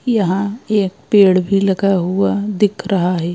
यहाँ एक पेड़ भी लगा हुआ दिख रहा है।